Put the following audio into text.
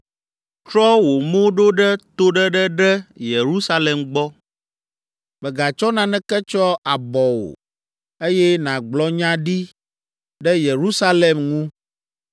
Trɔ wò mo ɖo ɖe toɖeɖe ɖe Yerusalem gbɔ. Mègatsɔ naneke tsyɔ abɔ o, eye nàgblɔ nya ɖi ɖe Yerusalem ŋu.